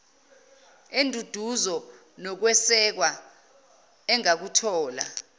enduduzo nokwesekwa engakuthola